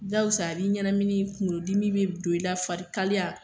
Jaakosa a b'i ɲanamini kunkolodimi bɛ don i la farikaliya.